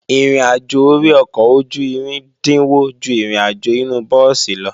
Ìrìnàjò ori ọkọ̀ ojú-irin dínwó ju ìrìnàjò inu búùsì lọ